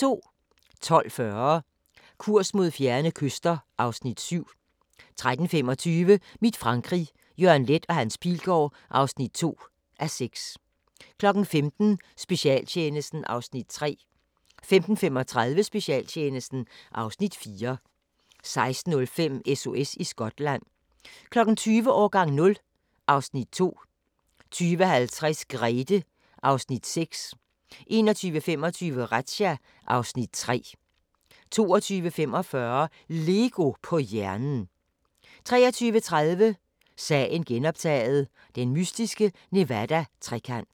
12:40: Kurs mod fjerne kyster (Afs. 7) 13:25: Mit Frankrig – Jørgen Leth & Hans Pilgaard (2:6) 15:00: Specialtjenesten (Afs. 3) 15:35: Specialtjenesten (Afs. 4) 16:05: SOS i Skotland 20:00: Årgang 0 (Afs. 2) 20:50: Grethe (Afs. 6) 21:25: Razzia (Afs. 3) 22:45: LEGO på hjernen 23:30: Sagen genoptaget – den mystiske Nevada-trekant